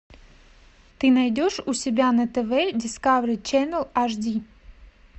ты найдешь у себя на тв дискавери ченал аш ди